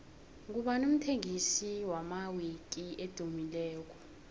ngubani umthengisi wamawiki edumileko